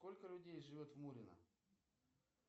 сколько людей живет в мурино